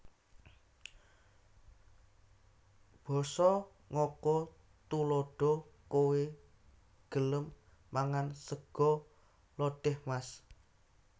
Basa NgokoTuladha Kowé gelem mangan sega lodèh mas